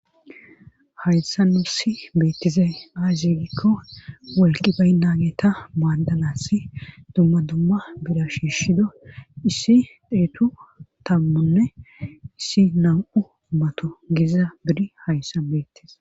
hayssa nu si beettizey ay ziigikko wolqi baynageta maaddanass dumma dumma bira shiishshido issi dheetu tammunne issi nam7u mato geza biri hayssa beettis